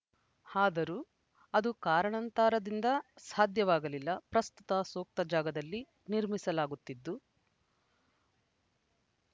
ಆದರೂ ಅದು ಕಾರಣಾಂತರದಿಂದ ಸಾಧ್ಯವಾಗಲಿಲ್ಲ ಪ್ರಸ್ತುತ ಸೂಕ್ತ ಜಾಗದಲ್ಲಿ ನಿರ್ಮಿಸಲಾಗುತ್ತಿದ್ದು